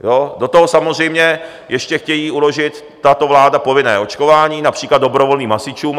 Do toho samozřejmě ještě chtějí uložit, tato vláda, povinné očkování například dobrovolným hasičům.